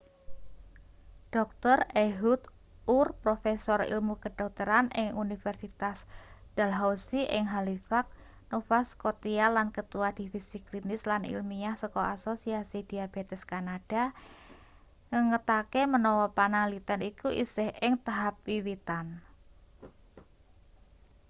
dr ehud ur profesor ilmu kedokteran ing universitas dalhousie ing halifax nova scotia lan ketua divisi klinis lan ilmiah saka asosiasi diabetes kanada ngengetake menawa panaliten iku isih ing tahap wiwitan